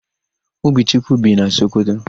Obichukwu bi na Sokoto.